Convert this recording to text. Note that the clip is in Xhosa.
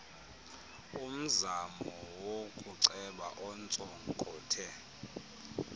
umzamo wokuceba ontsonkothe